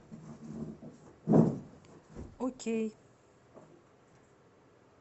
окей